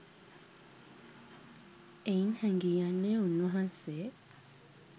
එයින් හැඟී යන්නේ උන්වහන්සේ